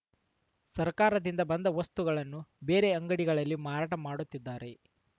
ಸರ್ಕಾರದಿಂದ ಬಂದ ವಸ್ತುಗಳನ್ನು ಬೇರೆ ಅಂಡಿಗಳಲ್ಲಿ ಮಾರಾಟ ಮಾಡುತ್ತಿದ್ದಾರೆ